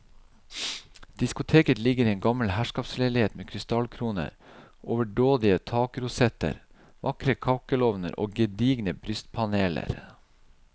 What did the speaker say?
Diskoteket ligger i en gammel herskapsleilighet med krystallkroner, overdådige takrosetter, vakre kakkelovner og gedigne brystpaneler.